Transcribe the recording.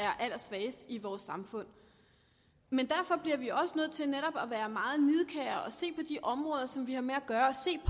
er allersvagest i vores samfund derfor bliver vi også nødt til netop at være meget nidkære og se på de områder som vi har med at gøre og se